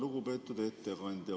Lugupeetud ettekandja!